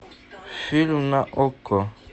фильм на окко